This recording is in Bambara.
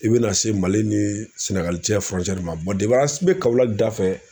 I bɛna se MALI ni SƐGALI cɛ ma an bɛ KAWOLAKI da fɛ.